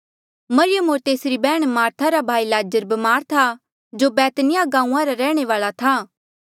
मरियम होर तेसरी बैहण मार्था रा भाई लाज़र ब्मार था जो बैतनिय्याह गांऊँआं रा रैह्णे वाल्आ था